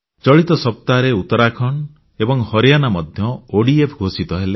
ଚଳିତ ସପ୍ତାହରେ ଉତ୍ତରାଖଣ୍ଡ ଏବଂ ହରିୟାଣା ମଧ୍ୟ ଓଡିଏଫ୍ ଘୋଷିତ ହେଲେ